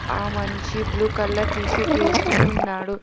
ఆ మనిషి blue colour T shirt వేసుకుని ఉన్నాడు.